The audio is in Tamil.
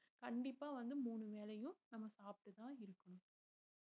கண்டிப்பா வந்து மூணு வேளையும் நம்ம சாப்பிட்டுதான் இருக்கணும்